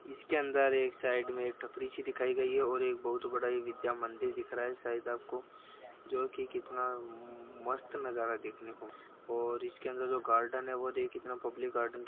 इसके अंदर एक साइड में टपरी सी दिखाई गई है और एक बहुत बड़ा यह विद्या मंदिर दिख रहा है शायद आपको जो की कितना मस्त नज़ारा देखने को मिल रहा है और इसके अंदर जो गार्डन है--